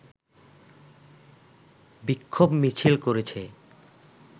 বিক্ষোভ মিছিল করেছে